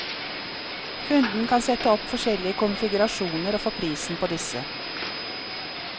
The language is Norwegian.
Kunden kan sette opp forskjellige konfigurasjoner og få prisen på disse.